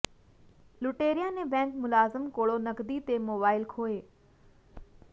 ਲੁਟੇਰਿਆਂ ਨੇ ਬੈਂਕ ਮੁਲਾਜ਼ਮ ਕੋਲੋ ਨਕਦੀ ਤੇ ਮੋਬਾਈਲ ਖੋਹੇ